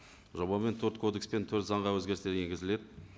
жобамен төрт кодекс пен төрт заңға өзгерістер енгізіледі